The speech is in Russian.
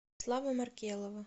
славы маркелова